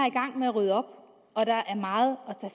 i gang med at rydde op og der er meget